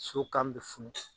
So kan bɛ funun